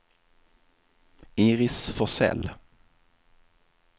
Iris Forsell